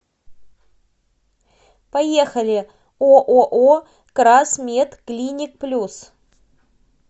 поехали ооо красмедклиникплюс